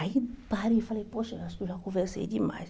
Aí parei e falei, poxa, acho que eu já conversei demais.